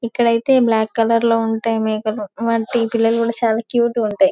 ఇక్కడైతే black colour లో ఉంటాయి మేకలు వాటి పిల్లలు చాలా క్యూట్ గా ఉంటాయి.